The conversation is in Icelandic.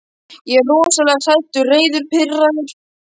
Ég er rosalega hræddur, reiður, pirraður.